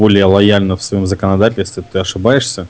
более лояльна в своём законодательстве ты ошибаешься